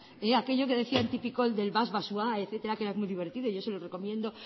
aquello que decían tip y coll del vas deau etcétera que era muy divertido y yo se lo recomiendo